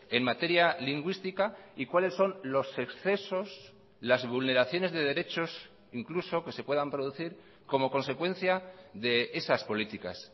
en materia lingüística y cuáles son los excesos las vulneraciones de derechos incluso que se puedan producir como consecuencia de esas políticas